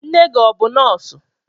Nne gị ọ bụ nọọsụ?